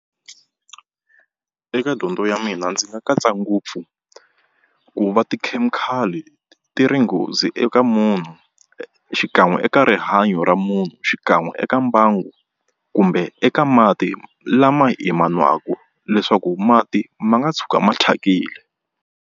Eka dyondzo ya mina ndzi nga katsa ngopfu ku va tikhemikhali ti ri nghozi eka munhu xikan'we eka rihanyo ra munhu xikan'we eka mbangu kumbe eka mati lama hi ma nwaka leswaku mati ma nga tshuka ma thyakile.